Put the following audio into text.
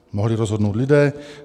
Mohli rozhodnout lidé.